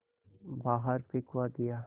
बाहर फिंकवा दिया